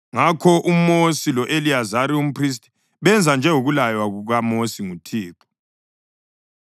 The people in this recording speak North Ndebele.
Ngakho uMosi lo-Eliyazari umphristi benza njengokulaywa kukaMosi nguThixo.